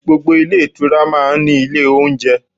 Gbogbo ilé ìtura máa ń ní ilé oúnjẹ.